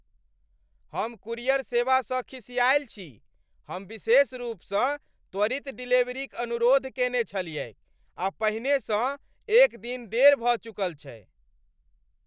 हम कूरियर सेवासँ खिसिआएल छी। हम विशेष रूपसँ त्वरित डिलीवरीक अनुरोध केने छलियैक आ पहिननै सँ एक दिन देर भऽ चुकल छै !